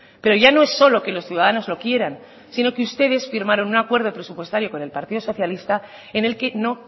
pero ya no es solo que los ciudadanos lo quieran sino que ustedes firmaron un acuerdo presupuestario con el partido socialista en el que no